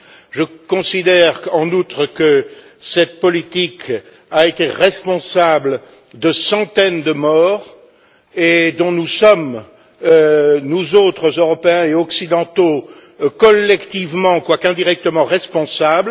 Je considère, en outre, que cette politique a été responsable de centaines de morts dont nous sommes, nous autres, Européens et Occidentaux, collectivement quoiqu'indirectement responsables.